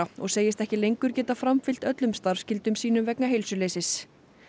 og segist ekki lengur geta framfylgt öllum starfskyldum sínum vegna heilsuleysis